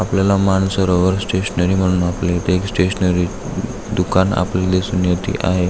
आपल्याला Mansarovar stationery म्हणून आपल्या इथे एक स्टेशनरी दुकान आपल्याला दिसून येते आहे.